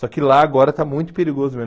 Só que lá agora está muito perigoso mesmo.